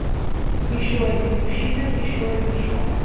еще один мужчина еще один шанс